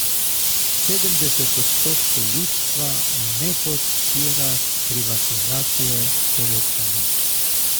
Sedemdeset odstotkov ljudstva ne podpira privatizacije Telekoma.